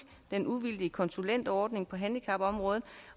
den uvildige konsulentordning på handicapområdet